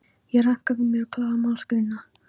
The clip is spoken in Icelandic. Ég ranka við mér og klára málsgreinina.